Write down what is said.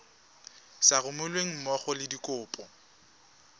sa romelweng mmogo le dikopo